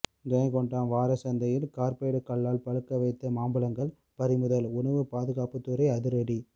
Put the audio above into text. ஜெயங்கொண்டம் வாரச்சந்தையில் கார்பைடு கல்லால் பழுக்க வைத்த மாம்பழங்கள் பறிமுதல் உணவு பாதுகாப்புத்துறை அதிரடி